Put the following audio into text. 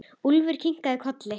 Úlfur kinkar kolli.